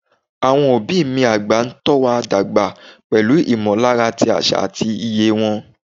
Àwọn òbí mi àgbà ń tọ́ wa dàgbà pẹ̀lú ìmọ̀lára ti àṣà àti iye wa.